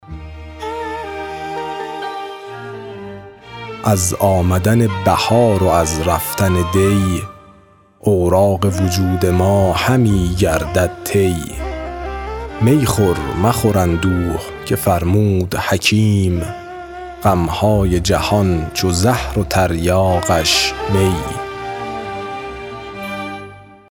از آمدن بهار و از رفتن دی اوراق وجود ما همی گردد طی می خور مخور اندوه که فرمود حکیم غمهای جهان چو زهر و تریاقش می